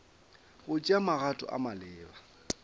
go tšea magato a maleba